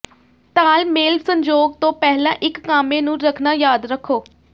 ਤਾਲਮੇਲ ਸੰਯੋਗ ਤੋਂ ਪਹਿਲਾਂ ਇੱਕ ਕਾਮੇ ਨੂੰ ਰੱਖਣਾ ਯਾਦ ਰੱਖੋ